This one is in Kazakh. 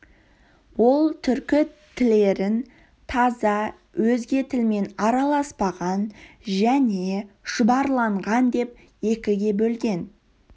ол түркі тілерін таза өзге тілмен араласпаған және шұбарланған деп екіге бөлген